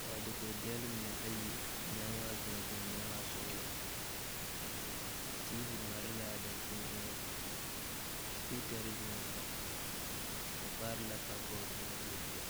kaa dakog dɛlle mine ayi meŋ waa zumɔzumɔ meŋ waa sɔglɔ teevi mare laa dankyine eŋɛŋ sepiikarre biŋee la ba kpaare la kabɔɔte biŋaa die poɔ.